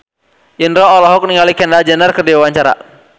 Indro olohok ningali Kendall Jenner keur diwawancara